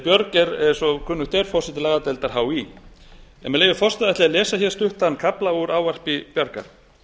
björg er eins og kunnugt er forseti lagadeildar hí en með leyfi forseta ætla ég að lesa stuttan kafla úr ávarpi bjargar